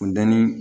Funteni